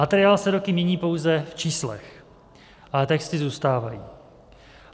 Materiál se roky mění pouze v číslech, ale texty zůstávají.